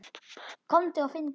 Komdu og finndu!